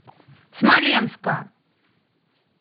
смоленска